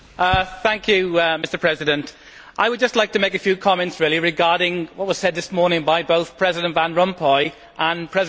Mr President, I would just like to make a few comments regarding what was said this morning by both President Van Rompuy and President Barroso.